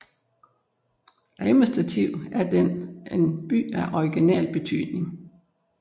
Administrativt er den en By af regional betydning